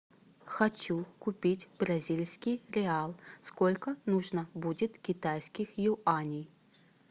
хочу купить бразильский реал сколько нужно будет китайских юаней